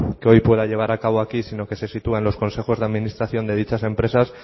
que hoy pueda llevar a cabo aquí sino que se situá en los consejos de administración de dichas empresas